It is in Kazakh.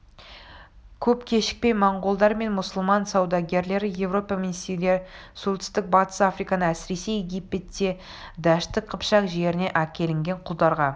көп кешікпей монғолдар мен мұсылман саудагерлері европа мен сирия солтүстік-батыс африканы әсіресе египетті дәшті қыпшақ жерінен әкелінген құлдарға